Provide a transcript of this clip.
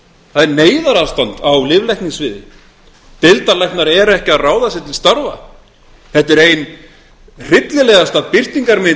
það er neyðarástand á lyflækningasviði deildarlæknar eru ekki að ráða sig til starfa þetta er ein hryllilegasta birtingarmynd